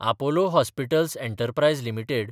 Apollo hospitals enterprise limited